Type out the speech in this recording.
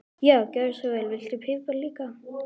Já, gjörðu svo vel. Viltu pipar líka?